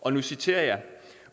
og nu citerer jeg